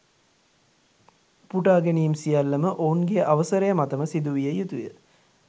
උපුටා ගැනීම් සියල්ලම ඔවුන්ගේ අවසරය මතම සිදුවිය යුතුය